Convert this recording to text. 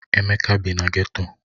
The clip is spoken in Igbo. Emeka bi na geto.